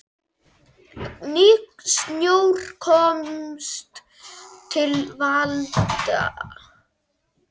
Ný stjórn komst til valda.